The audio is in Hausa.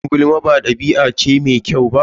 Shin kin san yin gulma ba ɗabi'a bace mai kyau?